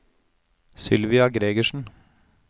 Sylvia Gregersen